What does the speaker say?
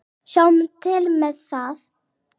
Sjáum til með það.